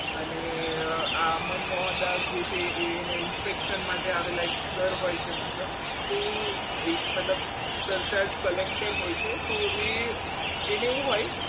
અને આ મનમાં મોહનદાસ છે એ એના inspection માટે આવેલા સર હોય છે મતલબ તો મતલબ સરતાજ collector હોય છે તો એ એને એવું હોય